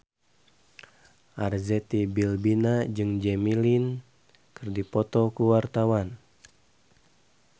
Arzetti Bilbina jeung Jimmy Lin keur dipoto ku wartawan